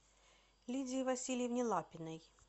лидии васильевне лапиной